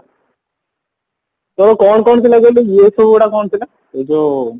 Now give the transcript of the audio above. ତୋର କଣ କଣ ଥିଲା କହିଲୁ ଇଏ ସବୁ ଗୁଡା କଣ ଥିଲା ଏଇ ଯୋଉ